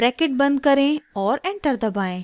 bracket बंद करें और एंटर दबाएं